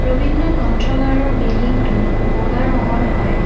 ৰবীন্দ্ৰ গ্ৰন্থাগাৰৰ বিল্ডিং টো বগা ৰঙৰ হয়।